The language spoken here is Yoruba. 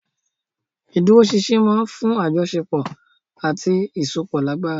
Ìdúróṣinṣin máa ń fún àjọṣepọ̀ àti ìsopọ̀ lágbára.